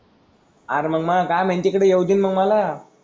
अरे मग मला दहा मिनिट तिकडे येऊ दे ना मग मला.